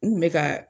N kun bɛ ka